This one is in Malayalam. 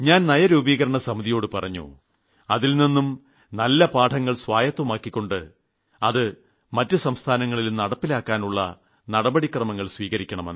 ഞാൻ നിതി ആയോഗിനോട് പറഞ്ഞു അതിൽനിന്നും നല്ല മാതൃകകൾ സ്വായത്തമാക്കിക്കൊണ്ട് അത് മറ്റു സംസ്ഥാനങ്ങളിലും നടപ്പിലാക്കാനുള്ള നടപടികൾ സ്വീകരിക്കണമെന്ന്